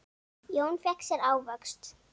Jón fékk sér ávöxt.